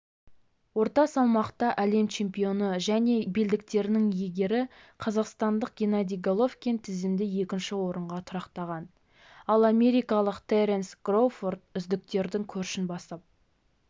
орта салмақта әлем чемпионы және белдіктерінің иегері қазақстандық геннадий головкин тізімде екінші орынға тұрақтаған ал америкалық теренс кроуфорд үздіктердің көшін бастап